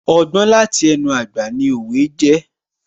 Ọgbọ́n láti ẹnu àgbà ni òwe jẹ́